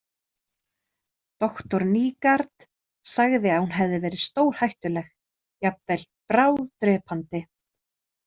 Doktor Nygaard sagði að hún hefði verið stórhættuleg, jafnvel bráðdrepandi.